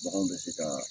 Baganw bɛ se ka